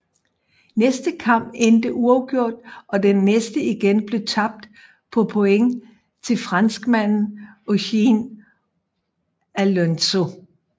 Næste kamp endte uafgjort og den næste igen blev tabt på point til franskmanden Eugene Alonzo